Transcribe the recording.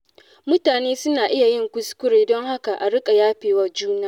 Mutane suna iya yin kuskure, don haka a riƙa yafewa juna.